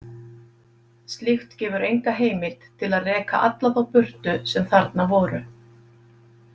Slíkt gefur enga heimild til að reka alla þá burtu sem þarna voru.